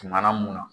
Tuma na munna